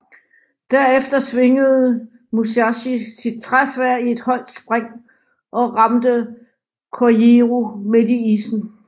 Derefter svingede Musashi sit træsværd i et højt spring og ramte Kojiro midt i issen